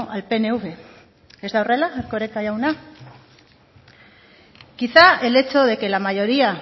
al pnv ez da hórrela erkoreka jauna quizá el hecho de que la mayoría